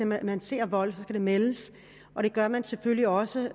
man ser vold skal det meldes og det gør man selvfølgelig også